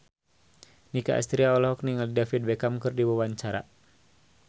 Nicky Astria olohok ningali David Beckham keur diwawancara